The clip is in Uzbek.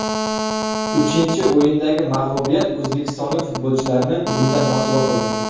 Uchinchi o‘yindagi mag‘lubiyat o‘zbekistonlik futbolchilarni bundan mosuvo qildi.